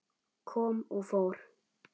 Kom og fór.